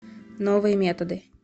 новые методы